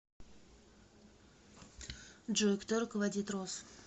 джой кто руководит рос